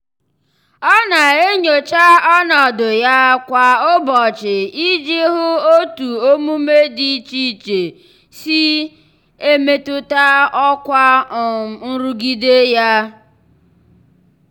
ọ na-enyocha ọnọdụ ya kwa ụbọchị iji hụ otu omume dị iche iche si iche si e metụta ọkwa um nrụgide ya.